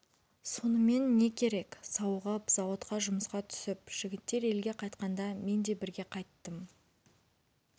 сонымен не керек сауығып зауытқа жұмысқа түсіп жігіттер елге қайтқанда мен де бірге қайттым